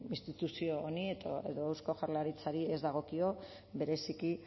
instituzio honi edo eusko jaurlaritzari ez dagokio bereziki